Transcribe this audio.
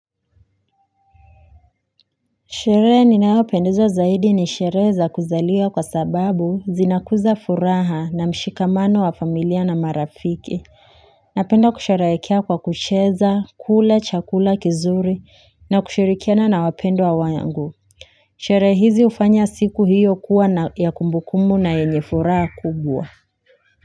Sherehe ninayopendezwa zaidi nishereheza kuzaliwa kwa sababu zinakuza furaha na mshikamano wa familia na marafiki Napenda kusherehekea kwa kucheza kula chakula kizuri na kushirikiana na wapendwa wangu Sherehe hizi hufanya siku hiyo kuwa na ya kumbukumbu na yenye furaha kubwa.